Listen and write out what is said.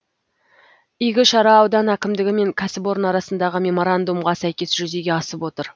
игі шара аудан әкімдігі мен кәсіпорын арасындағы меморандумға сәйкес жүзеге асып отыр